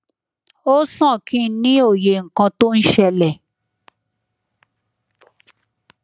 ó sàn kí n ní òye nǹkan tó ń ṣẹlẹ